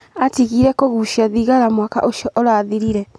Atigiire kũgucia thigara mwaka ũcio ũrathirire.